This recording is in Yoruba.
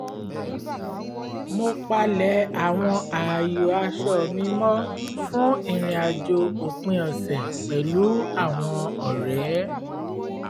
mo palẹ̀ àwọn ààyò aṣọ mi mọ́ fún ìrìn-àjò òpin ọ̀sẹ̀ pẹ̀lú àwọn ọ̀rẹ́